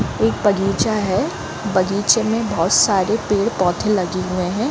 एक बगीचा है बगीचे में बहोत सारे पेड़-पौधे लगे हुए है।